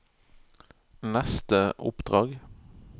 neste oppdrag